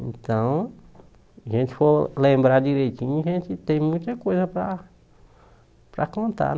Então, a gente for lembrar direitinho, a gente tem muita coisa para para contar.